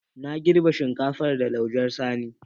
Na girbe shinkafar da laujen sani.